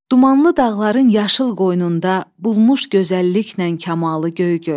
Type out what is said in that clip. Dumanlı dağların yaşıl qoynunda bulmuş gözəlliklə kamalı Göygöl.